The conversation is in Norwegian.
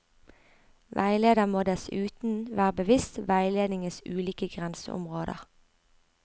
Veileder må dessuten være bevisst veiledningens ulike grenseområder.